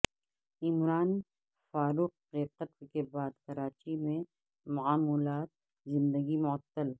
عمران فاروق کے قتل کے بعد کراچی میں معمولات زندگی معطل